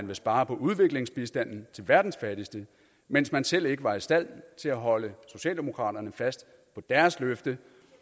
vil spare på udviklingsbistanden til verdens fattigste mens man selv ikke var i stand til at holde socialdemokraterne fast på deres løfte